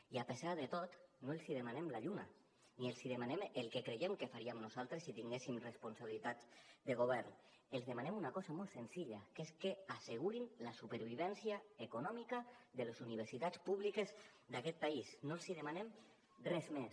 i a pesar de tot no els demanem la lluna ni els demanem el que creiem que faríem nosaltres si tinguéssim responsabilitats de govern els demanem una cosa molt senzilla que és que assegurin la supervivència econòmica de les universitats públiques d’aquest país no els demanem res més